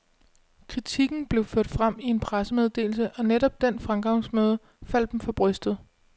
Kritikken blev ført frem i en pressemeddelse, og netop den fremgangsmåde faldt dem for brystet.